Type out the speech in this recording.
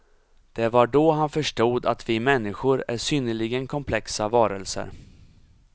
Det var då han förstod att vi människor är synnerligen komplexa varelser.